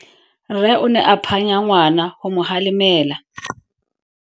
Rre o ne a phanya ngwana go mo galemela.